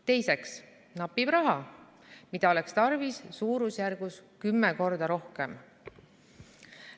Teiseks napib raha, mida oleks tarvis suurusjärgus 10 x rohkem.